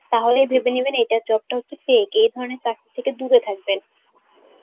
তাহলেই ভেবে নেবেন এটা job টা হচ্ছে fake. এই ধরনের চাকরীর থেকে দূরে থাকবেন